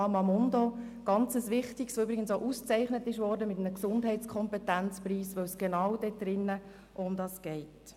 Dies ist sein sehr wichtiges Angebot, welches übrigens auch mit einem Gesundheitskompetenzpreis ausgezeichnet wurde, weil es genau um dieses Thema geht.